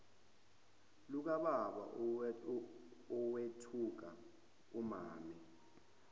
lukababa owethuka umame